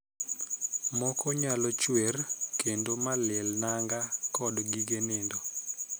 Moko nyalo chwer kendo malil nanga kod gige nindo.